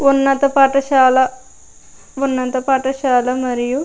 ఉన్నత పాఠసాల ఉన్నత పాఠసాల మరియు --